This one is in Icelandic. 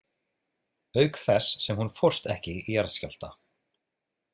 Auk þess sem hún fórst ekki í jarðskjálfta.